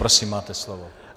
Prosím máte slovo.